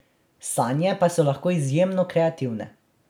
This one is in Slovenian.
Sanje pa so lahko izjemno kreativne.